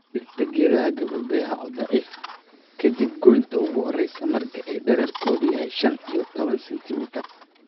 Dhirta geedo gabbaldayaha oo daciif ah ka dib goynta ugu horreysa marka ay dhererkoodu yahay shan iyo tawan centimitar